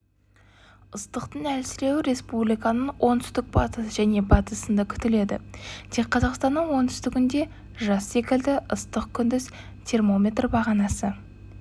ыстықтың әлсіреуі республиканың оңтүстік-батыс және батысында күтіледі тек қазақстанның оңтүстігінде жаз секілді ыстық күндіз термометрбағанасы